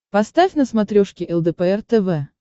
поставь на смотрешке лдпр тв